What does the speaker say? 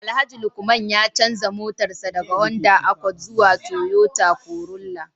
Alhaji Lukman ya canza motarsa ​​daga Honda Accord zuwa Toyota Corolla